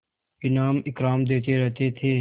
इनाम इकराम देते रहते थे